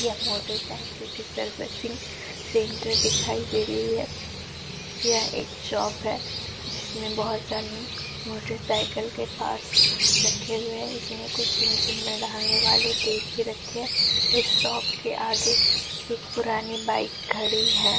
यह मोटरसाइकिल की servicing centre दिखाई दे रही है। यह एक शॉप है जिसमें बोहोत सारे मोटरसाइकिल के पार्ट्स रखे गए। इसमें कुछ इंजन में डालने वाले तेल भी रखे हैं। इस शॉप के आगे एक पुरानी बाईक खड़ी है।